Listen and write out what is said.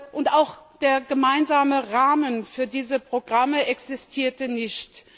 Und auch der gemeinsame Rahmen für diese Programme existierte nicht.